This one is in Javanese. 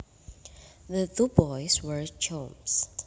The two boys were chums